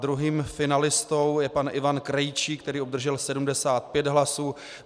Druhým finalistou je pan Ivan Krejčí, který obdržel 75 hlasů.